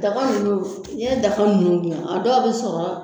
Daga ninnu n'i ye daga ninnu dilan a dɔ a bɛ sɔrɔ